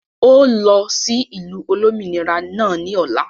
ó lọ sí ìlú Olómìnira náà ni ọ̀la